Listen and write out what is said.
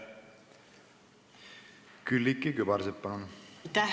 Külliki Kübarsepp, palun!